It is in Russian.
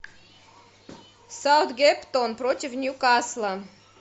саутгемптон против ньюкасла